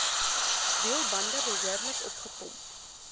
wielbande behoorlik opgepomp